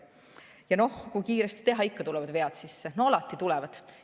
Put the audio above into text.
Ja noh, kui kiiresti teha, ikka tulevad vead sisse, alati tulevad.